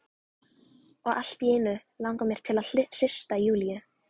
Og allt í einu langar mig til að hrista Júlíu.